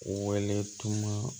Wele tun